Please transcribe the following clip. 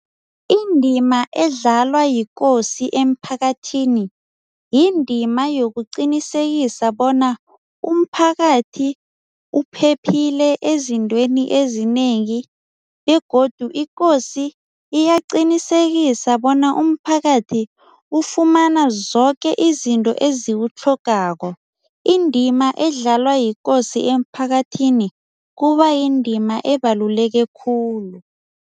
Indima edlalwa yikosi emphakathini yindima yokuqinisekisa bona umphakathi uphephile ezintweni ezinengi begodu ikosi iyaqinisekise bona umphakathi ufumana zoke izinto eziwutlhogekako. Indima edlalwa yikosi emphakathini kuba yindima ebaluleke khulu.